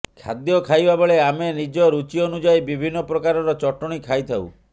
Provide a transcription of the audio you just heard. ଖାଦ୍ୟ ଖାଇବା ବେଳେ ଆମେ ନିଜ ରୁଚି ଅନୁଯାୟୀ ବିଭିନ୍ନ ପ୍ରକାରର ଚଟଣି ଖାଇଥାଉ